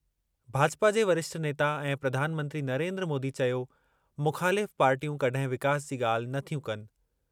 भाजपा जे वरिष्ठ नेता ऐं प्रधान मंत्री नरेंद्र मोदी चयो- मुख़ालिफ़ पार्टियूं कड॒हिं विकास जी ॻाल्हि नथियूं कनि।